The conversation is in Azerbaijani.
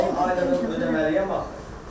10 aylığa ödəməliyəm axı.